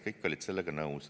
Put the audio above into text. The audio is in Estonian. Kõik olid sellega nõus.